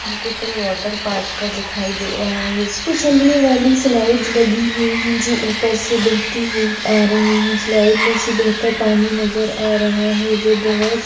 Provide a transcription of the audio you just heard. यह चित्र water park का दिखाई दे रहा है इस में चलने वाली स्लाइड लगी हुए है जो ऊपर से बहेती हुए आ रही है स्लाइड मे से बहेता पानी नजर आ रहा हैं जो बोहोत--